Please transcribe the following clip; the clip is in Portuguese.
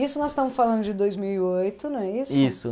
Isso nós estamos falando de dois mil e oito, não é isso? Isso